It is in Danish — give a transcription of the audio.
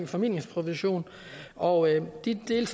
formidlingsprovision og de dele